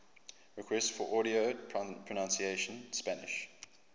requests for audio pronunciation spanish